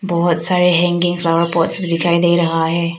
बहुत सारे hanging flower pots भी दिखाई दे रहा है।